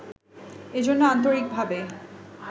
এজন্য আন্তরিকভাবে